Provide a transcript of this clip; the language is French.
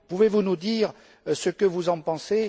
Pouvez vous nous dire ce que vous en pensez?